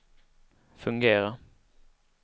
fungera